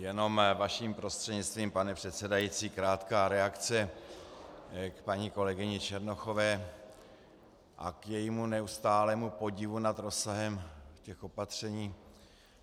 Jenom vaším prostřednictvím, pane předsedající, krátká reakce k paní kolegyni Černochové a k jejímu neustálému podivu nad rozsahem těch opatření.